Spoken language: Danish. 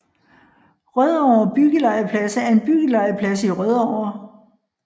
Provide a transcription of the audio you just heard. Rødovre Byggelegeplads er en byggelegeplads i Rødovre